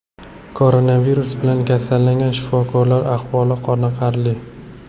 Koronavirus bilan kasallangan shifokorlar ahvoli qoniqarli.